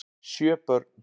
Sjö börn